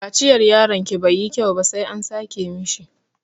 Kaciyar yaronki bai yi kyau ba sai an sake mishi.